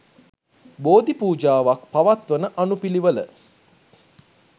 බෝධි පූජාවක් පවත්වන අනුපිළිවෙල